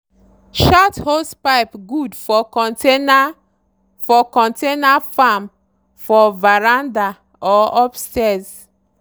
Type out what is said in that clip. short hosepipe good for container for container farm for veranda or upstairs.